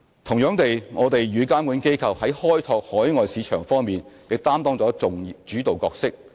同樣地，我們與監管機構在開拓海外市場方面亦擔當了主導角色。